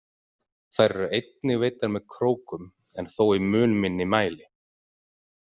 Þær eru einnig veiddar með krókum en þó í mun minni mæli.